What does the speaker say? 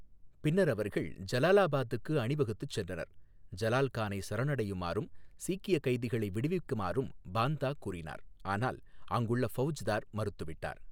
பின்னர் அவர்கள் ஜலாலாபாதுக்கு அணிவகுத்துச் சென்றனர், ஜலால் கானை சரணடையுமாறும் சீக்கிய கைதிகளை விடுவிக்குமாறும் பாந்தா கூறினார் ஆனால் அங்குள்ள ஃபவுஜ்தார் மறுத்துவிட்டார்.